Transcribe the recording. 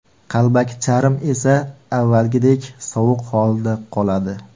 Qalbaki charm esa avvalgidek sovuq holida qoladi.